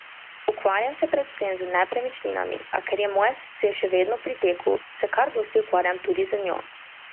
Ukvarjam se predvsem z nepremičninami, a ker je moje srce še vedno pri teku, se kar dosti ukvarjam tudi z njo.